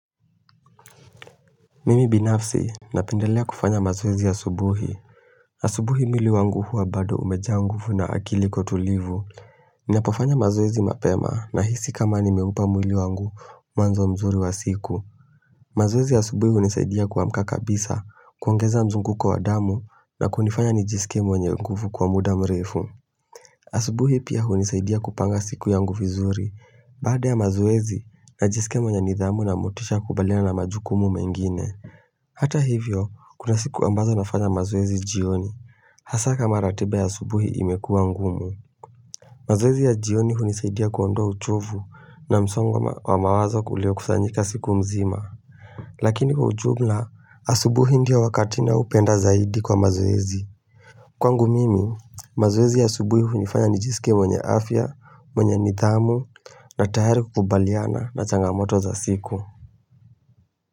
Mimi binafsi na pendelea kufanya mazoezi ya asubuhi. Asubuhi mwili wangu huwa bado umejaa nguvu na akili iko tulivu. Ninapofanya mazoezi mapema na hisi kama nimeupa mwili wangu mwanzo mzuri wa siku. Mazoezi ya asubuhi hunisaidia kuamka kabisa, kuongeza mzunguko wa damu na kunifanya nijisikie mwenye nguvu kwa muda mrefu. Asubuhi pia hunisaidia kupanga siku yangu vizuri. Baada ya mazoezi, najiskia mwenye nidhamu na motisha ya kukabiliana na majukumu mengine. Hata hivyo, kuna siku ambazo nafanya mazoezi jioni, hasa kama ratiba ya asubuhi imekuwa ngumu. Mazoezi ya jioni hunisaidia kuondoa uchovu na msongo wa mawazo ulio kusanyika siku mzima. Lakini kwa ujumla, asubuhi ndio wakati naupenda zaidi kwa mazoezi. Kwangu mimi, mazoezi ya asubuhi hunifanya nijiskie mwenye afya, mwenye nidhamu, na tayari kukabiliana na changamoto za siku.